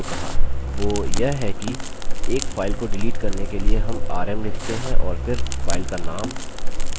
वो यह कि एक file को डिलीट करने के लिए rm rm लिखते हैं और फिर file का name